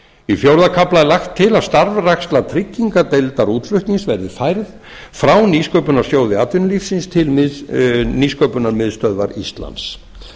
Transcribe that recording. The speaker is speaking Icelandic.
í fjórða kafla er lagt til að starfræksla tryggingardeildar útflutnings verði færð frá nýsköpunarsjóði atvinnulífsins til nýsköpunarmiðstöðvar íslands